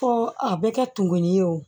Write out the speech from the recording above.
Fɔ a bɛ kɛ tumu ye o